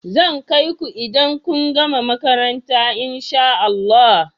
Zan kai ku idan kun gama makaranta in sha Allah.